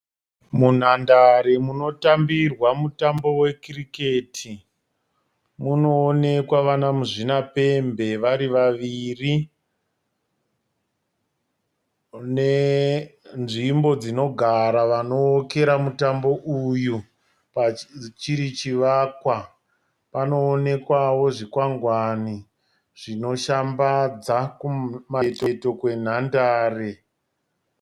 Munhandare munotambirwa mutambo wekiriketi munoonekwa vana muzvinapembe vari vaviri nenzvimbo dzinogara vanookera mutambo uyu, chiri chivakwa. Panoonekwawo zvikwangwani zvinoshambadza kumacheto kwenhandare